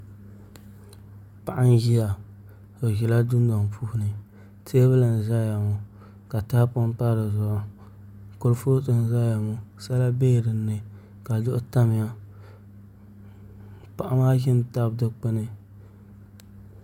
Paɣa n ʒiya o ʒila dundoŋ puuni teebuli n ʒɛya ŋo ka tahapoŋ pa dizuɣu kurifooti n ʒɛya ŋo sala biɛla dinni ka duɣu tamya paɣa maa ʒimi tabi dikpuni